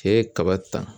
K'e ye kaba ta